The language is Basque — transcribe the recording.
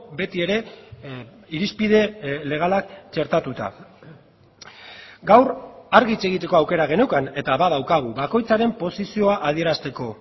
beti ere irizpide legalak txertatuta gaur argi hitz egiteko aukera geneukan eta badaukagu bakoitzaren posizioa adierazteko